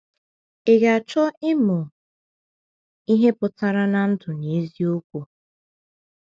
Ị ga-achọ ịmụ ihe pụtara ndụ n’eziokwu?